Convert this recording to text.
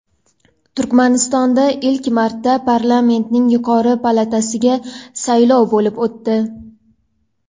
Turkmanistonda ilk marta parlamentning yuqori palatasiga saylov bo‘lib o‘tdi.